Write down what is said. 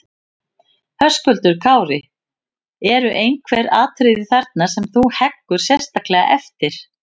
Höskuldur Kári: Eru einhver atriði þarna sem þú heggur sérstaklega eftir?